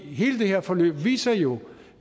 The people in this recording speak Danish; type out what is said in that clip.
hele det her forløb viser jo